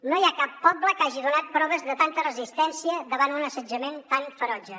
no hi ha cap poble que hagi donat proves de tanta resistència davant un assetjament tan ferotge